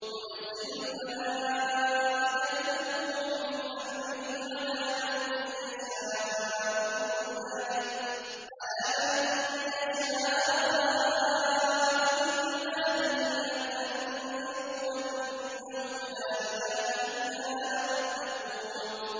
يُنَزِّلُ الْمَلَائِكَةَ بِالرُّوحِ مِنْ أَمْرِهِ عَلَىٰ مَن يَشَاءُ مِنْ عِبَادِهِ أَنْ أَنذِرُوا أَنَّهُ لَا إِلَٰهَ إِلَّا أَنَا فَاتَّقُونِ